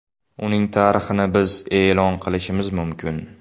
Uning tarixini biz e’lon qilishimiz mumkin.